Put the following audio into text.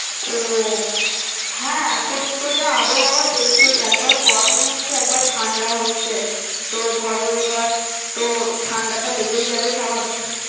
ওহ হ্যাঁ এখন তো যা আবহাওয়া দেখছই একবার গরম হচ্ছে একবার ঠান্ডা হচ্ছে তো ধরো এইবার তো ঠান্ডাটা লেগেই যাবে স্বাভাবিক।